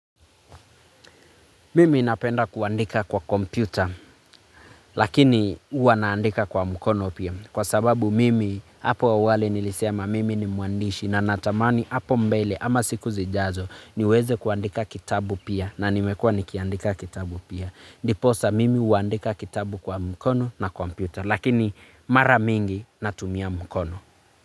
Mimi napenda kuandika kwa kompyuta lakini huwa naandika kwa mkono pia, kwa sababu mimi hapo awali nilisema mimi ni mwandishi na natamani hapo mbele ama siku zijazo niweze kuandika kitabu pia na nimekuwa nikiandika kitabu pia. Ndipo sasa mimi huandika kitabu kwa mkono na kompyuta lakini mara mingi natumia mkono.